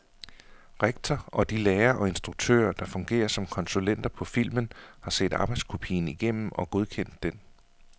Rektor og de lærere og instruktører, der fungerer som konsulenter på filmen, har set arbejdskopien igennem og godkendt den.